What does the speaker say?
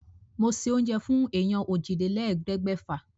Mo se oúnjẹ fún èèyàn òjìlélẹ́ẹ̀ẹ́dẹ́gbẹ́fà.